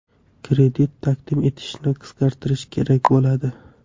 Kredit taqdim etishni qisqartirish kerak bo‘ladi.